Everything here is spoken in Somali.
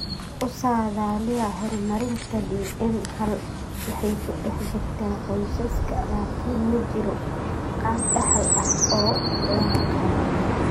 U saadaaliya horumarinta DM hal waxay ku dhex jirtaa qoysaska, laakiin ma jiro qaab dhaxal ah oo la yaqaan.